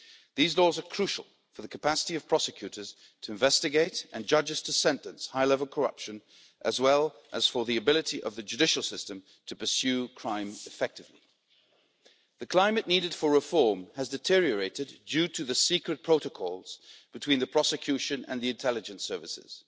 These laws are crucial for the capacity of prosecutors to investigate, and judges to sentence, high level corruption, as well as for the ability of the judicial system to pursue crime effectively. The climate needed for reform has deteriorated due to the secret protocols between the prosecution and the intelligence services.